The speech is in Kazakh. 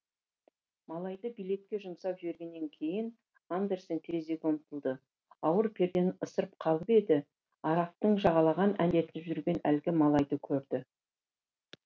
малайды билетке жұмсап жібергеннен кейін андерсен терезеге ұмтылды ауыр пердені ысырып қалып еді арықтың жағалай әндетіп жүрген әлгі малайды көрді